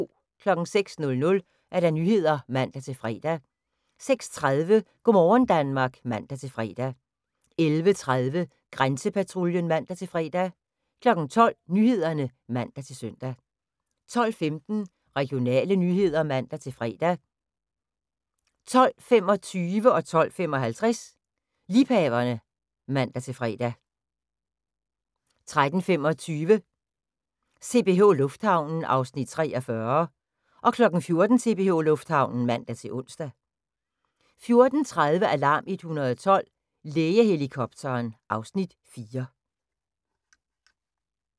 06:00: Nyhederne (man-fre) 06:30: Go' morgen Danmark (man-fre) 11:30: Grænsepatruljen (man-fre) 12:00: Nyhederne (man-søn) 12:15: Regionale nyheder (man-fre) 12:25: Liebhaverne (man-fre) 12:55: Liebhaverne (man-fre) 13:25: CPH Lufthavnen (Afs. 43) 14:00: CPH Lufthavnen (man-ons) 14:30: Alarm 112 – Lægehelikopteren (Afs. 4)